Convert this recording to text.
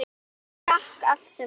Hann drakk allt sem rann.